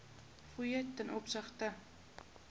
fooie ten opsigte